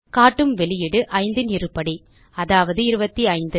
காட்டும் வெளியீடு 5 இன் இருபடி அதாவது 25